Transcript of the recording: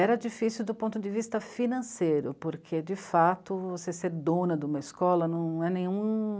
Era difícil do ponto de vista financeiro, porque, de fato, você ser dona de uma escola não é nenhum...